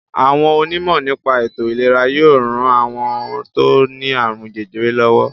Àwọn onímọ̀ nípa ètò-ìlera yóò ran àwọn tó ní àrùn jẹjẹrẹ lọ́wọ́.